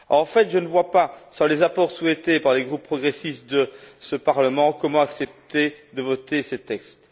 En fait, je ne vois pas, sans les apports souhaités par les groupes progressistes de ce Parlement, comment accepter de voter ces textes.